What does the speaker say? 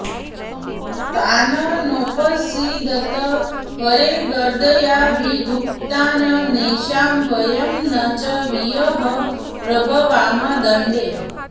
तान् नोपसीदत हरेर्गदयाभिगुप्तान् नैषां वयं न च वयः प्रभवाम दण्डे